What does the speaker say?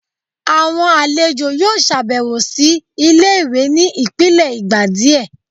awọn alejo yóò ṣabẹwo si ìlé-ìwé ní ipilẹ ìgbà diẹ